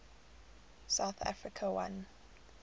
south africa won